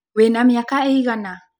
Wĩna mĩaka ĩigana?